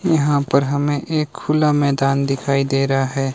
यहां पर हमें एक खुला मैदान दिखाई दे रहा है।